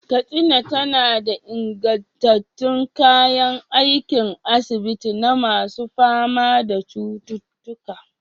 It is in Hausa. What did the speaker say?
Katsina tana da ingantattun kayan aikin asibiti na masu fama da cututtuka.